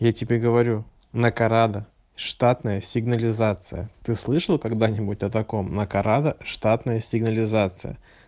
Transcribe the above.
я тебе говорю накарада штатная сигнализация ты слышал когда-нибудь о таком накарада штатная сигнализация